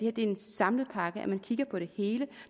er en samlet pakke at man altså kigger på det hele